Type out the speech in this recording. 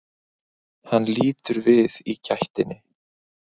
Hann lítur við í gættinni.